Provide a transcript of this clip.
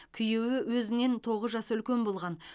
күйеуі өзінен тоғыз жас үлкен болған